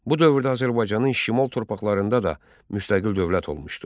Bu dövrdə Azərbaycanın şimal torpaqlarında da müstəqil dövlət olmuşdu.